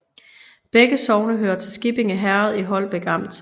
Begge sogne hørte til Skippinge Herred i Holbæk Amt